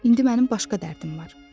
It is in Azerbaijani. İndi mənim başqa dərdim var.